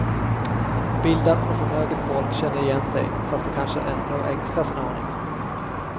Bildat och förmöget folk känner igen sig, fast de kanske ändå ängslas en aning.